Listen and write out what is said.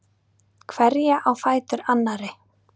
Hverja á fætur annarri.